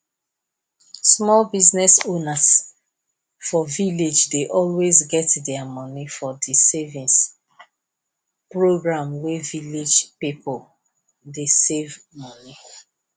small business owners for village dey always get their money for di savings program wey village pipo dey save money